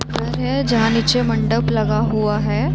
घर है जहाँ नीचे मंडप लगा हुआ है।